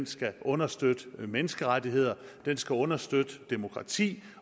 skal understøtte menneskerettigheder skal understøtte demokrati